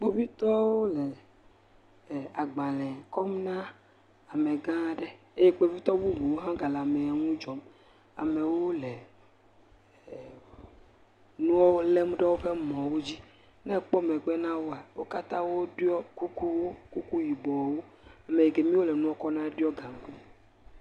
Kpovitɔwo le gbalẽ kɔm ne ame gã aɖe. Eye kpovitɔwo bubuwo hã gã le amewo nu dzɔm. Amewo le nuwo lem ɖe woƒe mɔ wodzi. Ne ekpɔ megbe nawòa, wò katã wò ɖɔ kuku wò. Kuku yibɔwo. Ame kemiwoe le nua kpɔm na ɖo gankui.